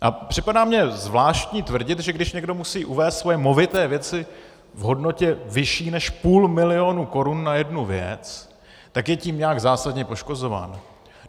A připadá mi zvláštní tvrdit, že když někdo musí uvést svoje movité věci v hodnotě vyšší než půl milionu korun na jednu věc, tak je tím nějak zásadně poškozován.